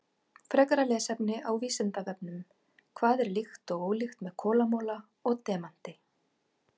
Frekara lesefni á Vísindavefnum: Hvað er líkt og ólíkt með kolamola og demanti?